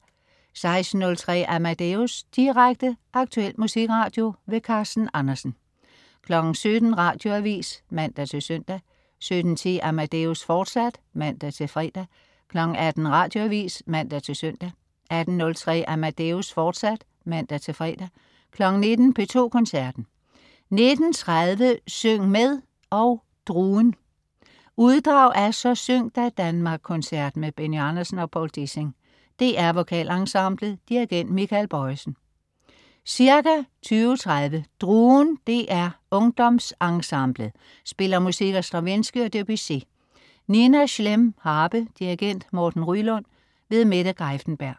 16.03 Amadeus. Direkte, aktuel musikradio. Carsten Andersen 17.00 Radioavis (man-søn) 17.10 Amadeus, fortsat (man-fre) 18.00 Radioavis (man-søn) 18.03 Amadeus, fortsat (man-fre) 19.00 P2 Koncerten. 19.30 Syng med og DRUEN. Uddrag af Så syng da, Danmark-koncerten med Benny Andersen og Poul Dissing. DR Vokalensemblet. Dirigent: Michael Bojesen. Ca. 20.30 DRUEN DR UngdomsENsemblet spiller musik af Stravinsky og Debussy. Nina Schlemm, harpe. Dirigent: Morten Ryelund. Mette Greiffenberg